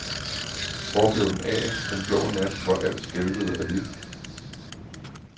Hvor blev den af, den blå nat hvor alt skælvede af liv?